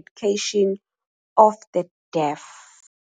Education of the Deaf".